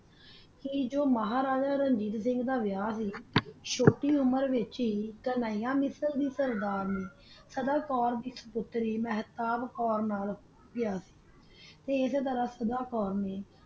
ਤਾ ਜੋ ਮਹਾਰਾਜਾ ਦਾ ਵਹਾ ਸੀ ਚੋਟੀ ਉਮੇਰ ਵਿਤਚ ਸਦਾਕੋਰ ਦੀ ਪੋਤਰੀ ਮਹਤਾਬ ਕੋਰ ਨਾਲ ਕ੍ਯਾ